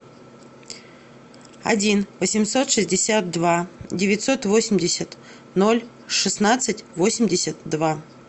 один восемьсот шестьдесят два девятьсот восемьдесят ноль шестнадцать восемьдесят два